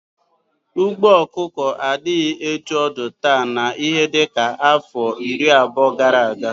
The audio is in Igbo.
Ugbo ọkụkọ adighi etu ọ di taa na ihe dika afọ iri abuo gara aga.